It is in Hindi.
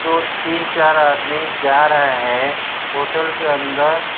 दो तीन चार आदमी जा रहे है होटल के अंदर --